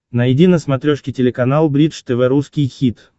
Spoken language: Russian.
найди на смотрешке телеканал бридж тв русский хит